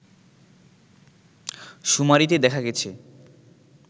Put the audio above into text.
শুমারিতে দেখা গেছে